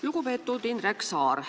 Lugupeetud Indrek Saar!